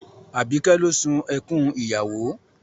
Àbíkẹ́ ló sun ẹkún ìyàwó